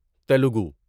Telugu